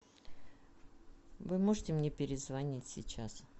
вы можете мне перезвонить сейчас